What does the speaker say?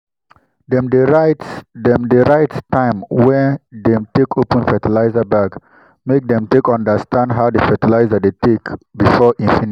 dem dey write dem dey write time wey dem take open fertilizer bag make dem take understand how di fertilizer dey take before e finish.